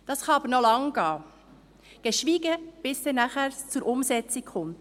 Das kann aber noch lange dauern, geschweige, bis es dann nachher zur Umsetzung kommt.